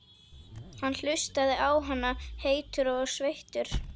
Hann hlustaði á hana, heitur og sveittur.